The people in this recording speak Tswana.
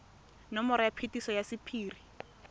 nomoro ya phetiso ya sephiri